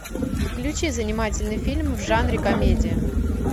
включи занимательный фильм в жанре комедия